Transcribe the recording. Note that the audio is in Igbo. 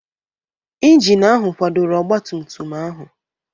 Injin ahụ kwadoro ọgba tum tum ahụ.